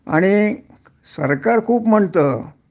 आणि सरकार खूप म्हणतं